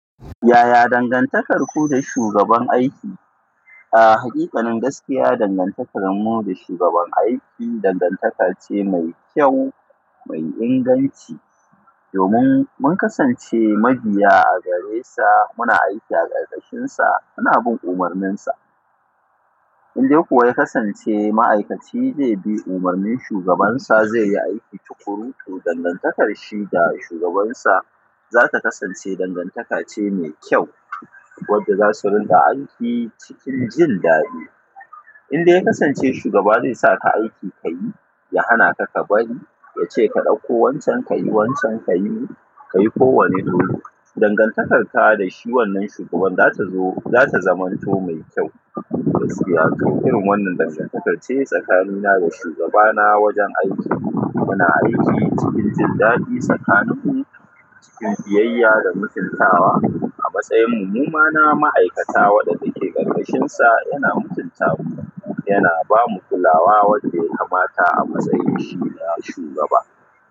Yaya dangantakarku da shugaban aiki? A hakiƙanin gaskiya, dangantakarmu da shugaban aiki dangantaka ce mai kyau, mai inganci. Domin mun kasance mabiya a gare sa, muna aiki a ƙarƙashinsa, muna bin umarninsa. Idan kuwa ya kasance ma'aikaci zai bi umarnin shugabansa, zai yi aiki tukuru, to dangantakar shi da shugabansa za ta kasance dangantaka ce mai kyau wadda za su rinka aiki cikin jin daɗi. Indai ya kasance shugaba zai saka aiki ka yi, ya hana ka ka bari, ya ce ka ɗauko wancan, ka yi wancan, ka yi ka yi kowane dole, dangantakarka da shi wannan shugaban za ta zo, za ta zamanto mai kyau. Gaskiya kam, irin wannan dangantakar ce tsakanina da shugabana wajen aiki. Muna aiki cikin jin daɗi tsakaninmu, cikin biyayya da mutuntawa. A matsayin mu, mu ma na ma'aikata waɗanda ke ƙarƙashinsa yana mutunta mu, yana ba mu kulawa wadda ya kamata a matsayin shi na shugaba.